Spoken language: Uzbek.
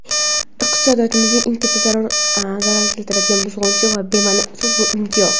Iqtisodiyotimizga eng katta zarar keltiradigan buzg‘unchi va bemani so‘z bu imtiyoz.